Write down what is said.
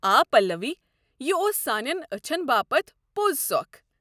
آ پلوی! یہِ اوس سانین اچھن باپت پۄز سۄكھ ۔